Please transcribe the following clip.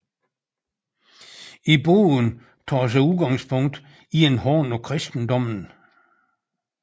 I bogen tages der udgangspunkt i en hån af kristendommen